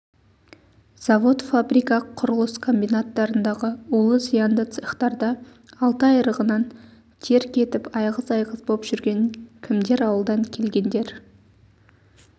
завод фабрика құрылыс комбинаттарындағы улы зиянды цехтарда алты айрығынан тер кетіп айғыз-айғыз боп жүрген кімдер ауылдан келгендер